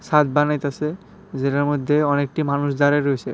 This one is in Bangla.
ছাদ বানাইতাসে যেটার মইধ্যে অনেকটি মানুষ দাঁড়ায় রইসে।